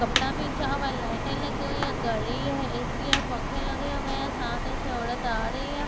कपडा भी लाइट लगी हुई है घड़ी है ए_सी है पंखा लगे हुए है सामने से औरत आ रही है।